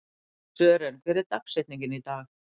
Sören, hver er dagsetningin í dag?